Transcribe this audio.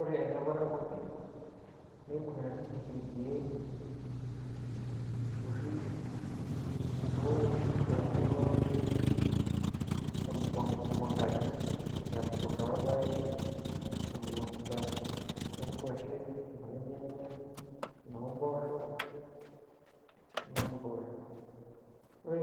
Ore ele parakwoni, neibung'ita ninye irkiek oshi, owoki ashu loopiki mukuntani. Emukunta orpaek, emukunta oo ngwashen, enoolnyanya, enoomboosho. Ore